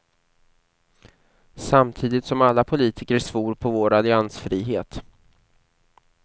Samtidigt som alla politiker svor på vår alliansfrihet.